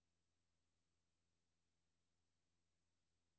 aftaler aftaler aftaler